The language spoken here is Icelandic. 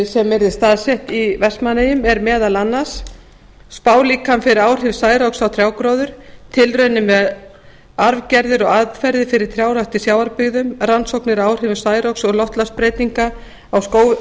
sem yrði staðsett í vestmannaeyjum er meðal annars spálíkan fyrir áhrif særoks á trjágróður tilraunir með arfgerðir og aðferðir fyrir trjárækt í sjávarbyggðum rannsóknir á áhrifum særoks og loftslagsbreytinga á